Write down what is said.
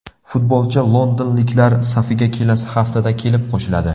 Futbolchi londonliklar safiga kelasi haftada kelib qo‘shiladi.